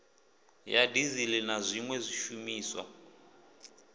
ya dizili na zwiwe zwishumiswa